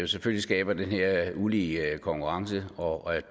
selvfølgelig skaber den her ulige konkurrence og at